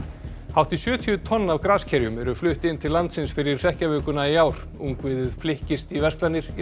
hátt í sjötíu tonn af graskerjum eru flutt inn til landsins fyrir hrekkjavökuna í ár ungviðið flykkist í verslanir í